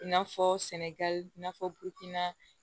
I n'a fɔ sɛnɛgali n'a fɔ butinna